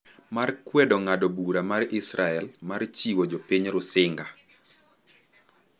mar kwedo ng’ado bura mar Israel mar chiwo jopiny Rusinga